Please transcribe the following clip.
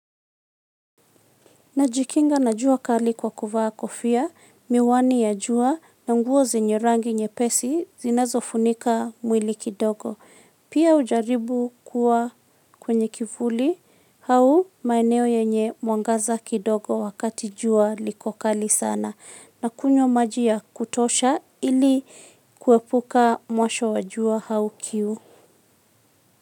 Najikinga na jua kali kwa kuvaa kofia, miwani ya jua na nguo zenye rangi nyepesi zinazofunika mwili kidogo. Pia hujaribu kuwa kwenye kivuli, hau maeneo yenye mwangaza kidogo wakati jua liko kali sana. Na kunywa maji ya kutosha ili kuepuka mwasho wa jua hau kiu.